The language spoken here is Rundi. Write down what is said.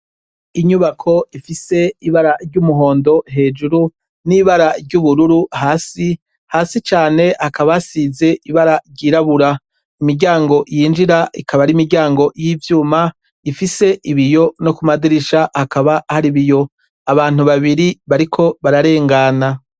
Inyubako ifise ibara ry'umuhondo hejuru n'ibara ry'ubururu hasi hasi cane hakabasize ibara ryirabura imiryango yinjira ikaba ari imiryango y'ivyuma ifise ibiyo no kumadirisha hakaba hari ibiyo abantu babiri bariko bararengana.